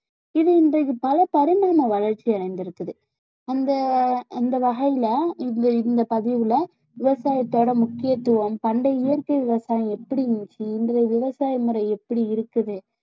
இது இன்றைக்கு பல பரிணாம வளர்ச்சி அடைந்திருக்குது அந்த அந்த வகையிலே இந்த இந்த பதிவுல விவசாயத்தோட முக்கியத்துவம் பண்டைய இயற்கை விவசாயம் எப்படி இருந்துச்சு இன்றைய விவசாய முறை எப்படி இருக்குது